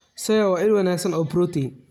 Soya waa il wanaagsan oo borotiin.